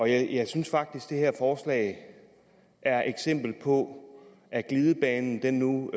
jeg synes faktisk at det her forslag er et eksempel på at glidebanen nu